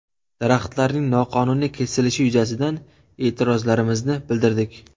Daraxtlarning noqonuniy kesilishi yuzasidan e’tirozlarmizni bildirdik.